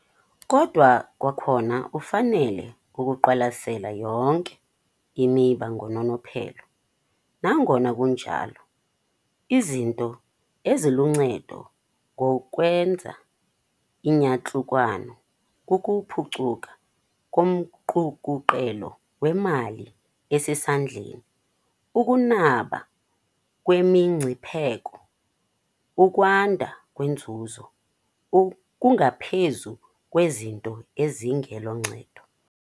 Kodwa kwakhona ufanele ukuqwalasela yonke imiba ngononophelo. Nangona kunjalo, izinto eziluncedo ngokwenza iiyantlukwano - kukuphucuka komqukuqelo wemali esesandleni, ukunaba kwemingcipheko, ukwanda kwenzuzo, - kungaphezu kwezinto ezingeloncedo.